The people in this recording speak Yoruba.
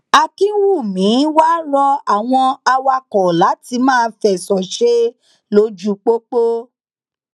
akínwùmí wàá rọ àwọn awakọ láti máa fẹsọ ṣe lójú pópó